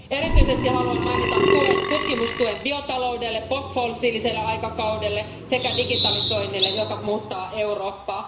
Erityisesti haluan mainita tutkimustuen biotaloudelle, postfossiiliselle aikakaudelle sekä digitalisoinnille, joka muuttaa Eurooppaa.